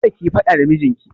Kada kiyi faɗa da mijinki!